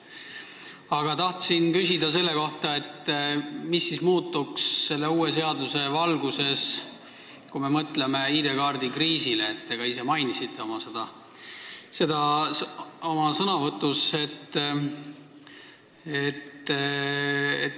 Mina tahtsin aga küsida selle kohta, mis siis muutuks uue seaduse valguses, kui me mõtleme näiteks ID-kaardi kriisile, mida te ka oma sõnavõtus mainisite.